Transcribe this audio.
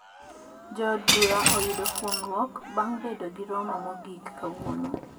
Jo od bura oyudo fuong`ruok bang bedo gi romo mogik kawuono